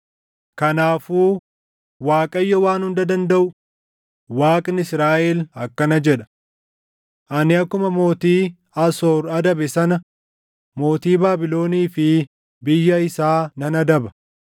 Kanaafuu Waaqayyo Waan Hunda Dandaʼu, Waaqni Israaʼel akkana jedha: “Ani akkuma mootii Asoor adabe sana mootii Baabilonii fi biyya isaa nan adaba.